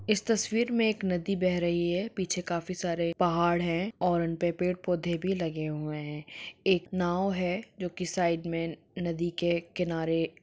इस तस्वीर में एक नदी बह रही है पीछे काफी सारे पहाड़ है और उन पे पेड़ पौधे भी लगे हुए है। एक नाव है जो की साईड में न-नदी के किनारे--